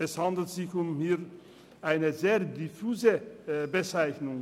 Es handelt sich dabei um eine sehr diffuse Bezeichnung.